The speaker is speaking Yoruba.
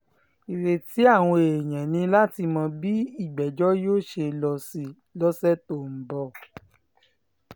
ìrètí àwọn èèyàn ni láti mọ bí ìgbẹ́jọ́ yóò ṣe lọ sí lọ́sẹ̀ tó ń bọ̀